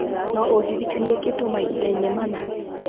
no ũndirikanie kĩndũ mahinda-inĩ mana